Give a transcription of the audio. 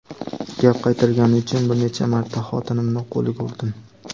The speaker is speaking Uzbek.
gap qaytargani uchun bir necha marta xotinimni qo‘liga urdim.